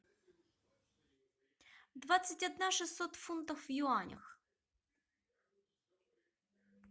двадцать одна шестьсот фунтов в юанях